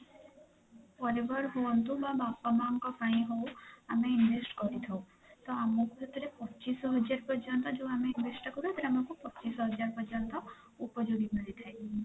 ପରିବାର ହୁଅନ୍ତୁ କି ବାପା ମାଁ ଙ୍କ ପାଇଁ ହୋଉ ଆମେ invest କରିଥାଉ ତ ଆମକୁ ସେଥିରେ ପଚିଶ ହଜାର ପର୍ଯ୍ୟନ୍ତ ଯୋଉ ଆମେ invest ଟା କରୁ ସେଥିରେ ଆମକୁ ପଚିଶ ହଜାର ପର୍ଯ୍ୟନ୍ତ ଉପଯୋଗୀ ମିଳିଥାଏ